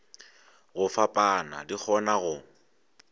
go fapana di kgona go